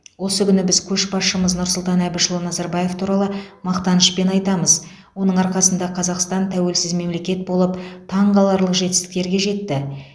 осы күні біз көшбасшымыз нұрсұлтан әбішұлы назарбаев туралы мақтанышпен айтамыз оның арқасында қазақстан тәуелсіз мемелекет болып таңқаларлық жетістіктерге жетті